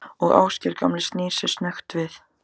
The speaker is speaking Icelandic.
Og Ásgeir gamli snýr sér snöggt við.